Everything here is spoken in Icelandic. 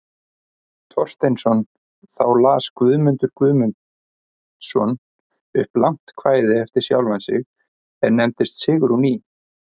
Thorsteinsson, þá las Guðmundur Guðmundsson upp langt kvæði eftir sjálfan sig, er nefnist Sigrún í